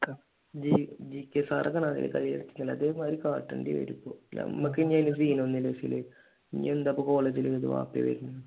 ഈ GK sir കയ്യിലെടുത്തിട്ടില്ലേ അതേമാതിരി കാട്ടേണ്ടി വരും ഇപ്പൊ ഞമ്മക്ക് പിന്നെ ഇതിലൊന്നും സിനില്ല ഈ ഇപ്പൊ കോളേജിൽ എന്തായാലും ബാപ്പയെ വരൂ